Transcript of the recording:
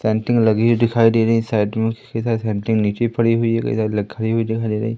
Painting लगी हुई दिखाई दे रही है साइड में नीचे पड़ी हुई है खड़ी हुई दिखाई दे रही है।